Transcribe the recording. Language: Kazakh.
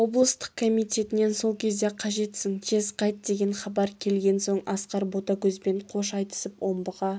облыстық комитетінен сол кезде қажетсің тез қайт деген хабар келген соң асқар ботагөзбен қош айтысып омбыға